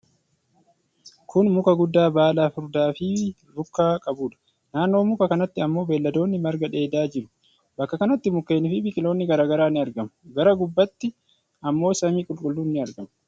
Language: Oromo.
Kun muka guddaa baala furdaa fi rukkaa qabuudha. Naannoo muka kanatti ammoo beelladonni marga dheedaa jiru. Bakka kanatti mukkeeni fi biqiloonni garaa garaa ni argamu. Gara gubbaatti ammoo samii qulqulluun ni argama.